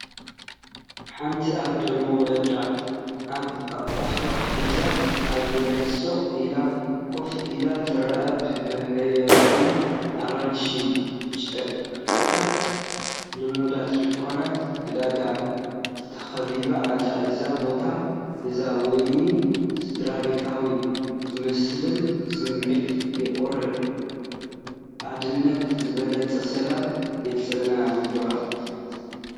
ሓንቲ ኣደ ንውላዳ ኣብ ሕቑፋ ሒዛ ኣብ መሬት ስቕ ኢላ ኮፍ ኢላ ትርአ። ብሕብራዊ ኣራንሺ ጨርቅታትን ልሙዳት ድኳናት ዕዳጋን ተኸቢባ ኣላ። እዚ ቦታ እዚ ውዑይን ስድራቤታዊ ዝመስልን ስምዒት የቕርብ፤ ኣደነት ዝበለጸ ሰላም የንጸባርቕ።